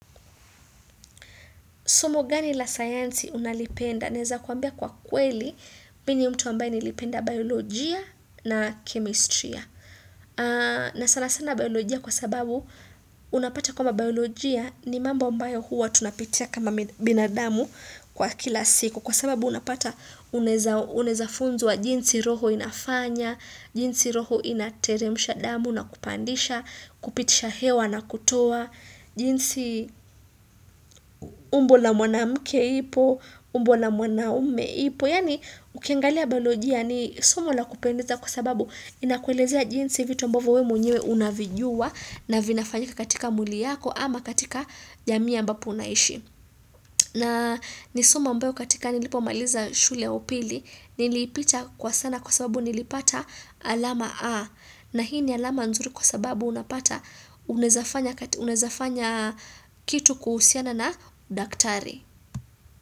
Somo gani la science unalipenda? Naeza kuambia kwa kweli, mimi ni mtu ambaye nilipenda biolojia na chemestria. Na sana sana biolojia kwa sababu, unapata kwamba biolojia ni mambo ambayo huwa tunapitia kama binadamu kwa kila siku. Kwa sababu unapata unaweza funzwa wa jinsi roho inafanya, jinsi roho inateremusha damu na kupandisha, kupitisha hewa na kutoa, jinsi umbo la mwana mke ipo umbo la mwana ume ipo Yani ukiangalia bayolojia ni somo la kupendiza kwa sababu Inakuelezea jinsi vitu ambavyo wewe mwenyewe unavijua na vinafanyika katika mwili yako ama katika jamii ambapo unaishi na ni somo ambayo katika nilipomaliza shule ya upili Nilipita kwa sana kwa sababu nilipata alama A na hii ni alama nzuri kwa sababu unapata unawezafanya kitu kuhusiana na daktari.